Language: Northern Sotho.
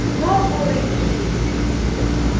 mo o re ke ye